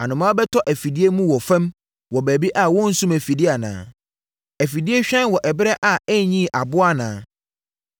Anomaa bɛtɔ afidie mu wɔ fam wɔ baabi a wɔnnsum afidie anaa? Afidie hwan wɔ ɛberɛ a ɛnyii aboa anaa?